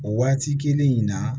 O waati kelen in na